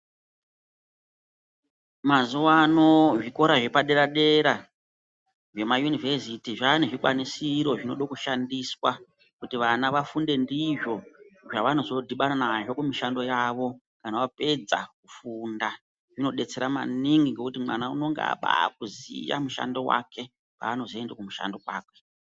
Mazuwaano zvikora zvepadera dera zvemayunivheziti zvaane zvikwanisiro zvinode kushandiswa kuti vana vafunde ndizvo zvavanozo dhibana nazvo kumishando yavo kana vapedza kufunda. Zvinodetsera maningi ngokuti mwana unenge abaakuziya mushando wake paanozoenda kumushando kwakwe.